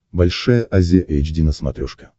большая азия эйч ди на смотрешке